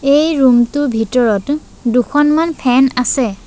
এই ৰুম টোৰ ভিতৰত দুখনমান ফেন আছে।